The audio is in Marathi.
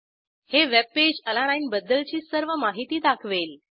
हे वेबपेज अलानीने बद्दलची सर्व माहिती दाखवेल